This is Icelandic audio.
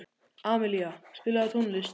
Amilía, spilaðu tónlist.